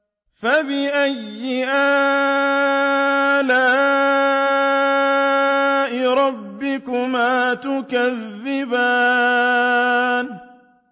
فَبِأَيِّ آلَاءِ رَبِّكُمَا تُكَذِّبَانِ